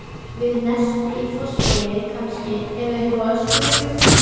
Við Nesti í Fossvogi kannski, eða uppi á öskuhaugum.